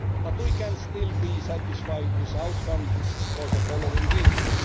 But we can still be satisfied with the outcome, for the following reasons.